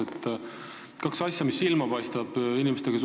Inimestega suheldes on silma hakanud kaks asja.